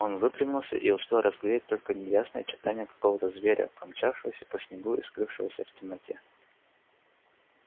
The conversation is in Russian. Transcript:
он выпрямился и успел разглядеть только неясные очертания какого то зверя промчавшегося по снегу и скрывшегося в темноте